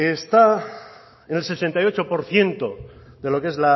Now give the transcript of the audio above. está en el sesenta y ocho por ciento de lo que es